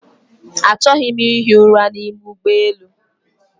Achọghị m ihi ụra n'ime ụgbọelu